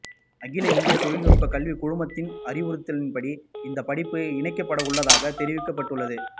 அகில இந்திய தொழில்நுட்ப கல்விக்குழுமத்தின் அறிவுறுத்தலின்படி இந்த படிப்பு இணைக்கப்படவுள்ளதாக தெரிவிக்கப்பட்டுள்ளது